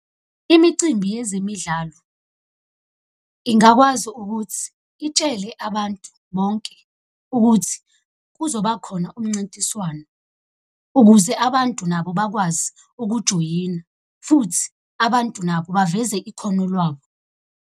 Imicimbi yezemidlalo ingakwazi ukuthi itshele abantu bonke ukuthi kuzobakhona umncintiswano ukuze abantu nabo bakwazi ukujoyina, futhi abantu nabo baveze ikhono lwabo.